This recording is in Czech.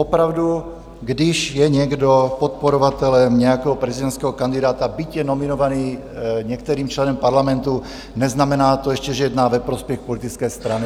Opravdu, když je někdo podporovatelem nějakého prezidentského kandidáta, byť je nominovaný některým členem Parlamentu, neznamená to ještě, že jedná ve prospěch politické strany.